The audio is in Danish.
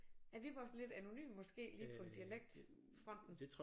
Er Viborg sådan lidt anonym måske lige på dialektfronten